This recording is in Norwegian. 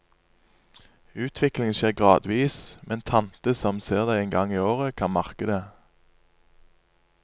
Utviklingen skjer gradvis, men tante som ser deg en gang i året, kan merke det.